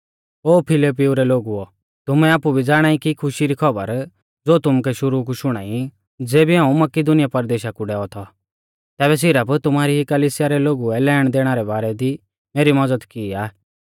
ओ फिलिप्पिऊ रै लोगुओ तुमै आपु भी ज़ाणाई कि खुशी री खौबर ज़ो तुमुकै शुरु कु शुणाई और ज़ेबी हाऊं मकिदुनीया परदेशा कु डैऔ थौ तैबै सिरफ तुमारी ई कलिसिया रै लोगुऐ लेणदेणा रै बारै दी मेरी मज़द की आ